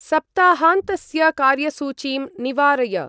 सप्ताहान्तस्य कार्यसूचीं निवारय।